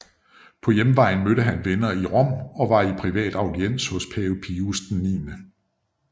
På hjemvejen mødte han venner i Rom og var i privat audiens hos pave Pius 9